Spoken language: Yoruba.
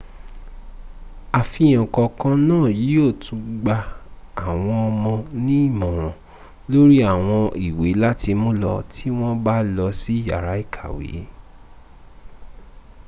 àfihàn kọ̀ọ̀kan náà yíò tún gba àwọn ọmọ ní ìmòràn lórí àwọn ìwé láti múlò tí wọn bá lọ sí yàrá ìkàwẹ́